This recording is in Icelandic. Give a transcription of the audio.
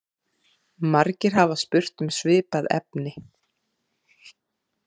Margir hafa spurt um svipað efni.